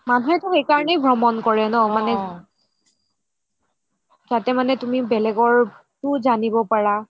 মানুহেটো সেই কাৰণেই ভ্ৰমণ কৰে ন মানে তাতে মানে তুমি বেলেগৰটোও জানিব পাৰা